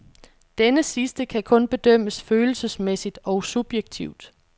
Denne sidste kan kun bedømmes følelsesmæssigt og subjektivt.